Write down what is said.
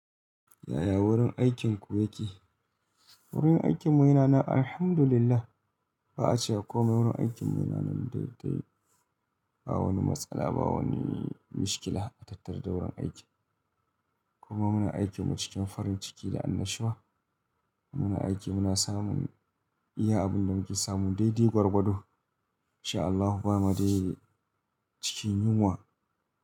Yaya wurin aikinku yake? Wurin aikinmu yana nan Alhamdulillah. Wurin aikinmu yana nan Alhamdulillah. Ba a cewa komai wurin aikinmu yana nan daidai. Ba wani matsala ba wani mikiila a tattaru da wurin aiki. Kuma muna aiki mu cikin farin ciki da annashuwa. Muna aiki muna samun iya abin da muke samun daidai gwargwado.